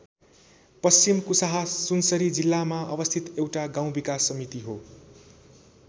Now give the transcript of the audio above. पश्चिम कुसाहा सुनसरी जिल्लामा अवस्थित एउटा गाउँ विकास समिति हो।